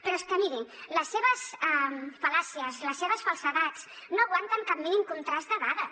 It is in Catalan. però és que miri les seves fal·làcies les seves falsedats no aguanten cap mínim contrast de dades